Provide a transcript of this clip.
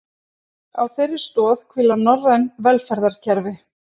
Á þeirri stoð hvíla norræn velferðarkerfi